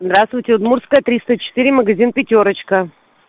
здравствуйте удмуртская триста четыре магазин пятёрочка